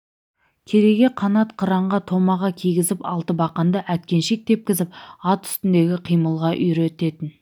кереге қанат қыранға томаға кигізіп алтыбақанда әткеншек тепкізіп ат үстіндегі қимылға үйрететін